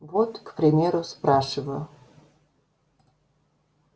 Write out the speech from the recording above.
вот к примеру спрашиваю